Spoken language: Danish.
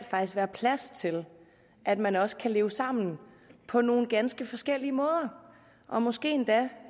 være plads til at man også kan leve sammen på nogle ganske forskellige måder og måske endda